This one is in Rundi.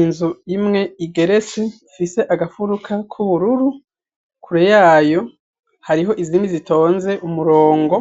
Inzu imwe igeretse ifise agafuruka k'ubururu, kure y'ayo hariho izindi zitonze umurongo,